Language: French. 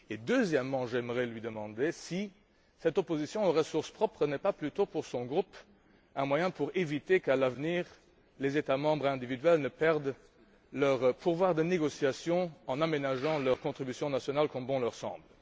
Deuxièmement, j'aimerais lui demander si cette opposition aux ressources propres n'est pas plutôt, pour son groupe, un moyen d'éviter qu'à l'avenir, les États membres individuels ne perdent leur pouvoir de négociation, en aménageant leurs contributions nationales comme bon leur semble?